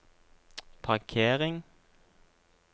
parkering